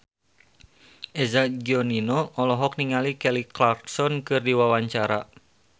Eza Gionino olohok ningali Kelly Clarkson keur diwawancara